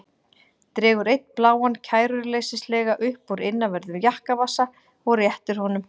Dregur einn bláan kæruleysislega upp úr innanverðum jakkavasa og réttir honum.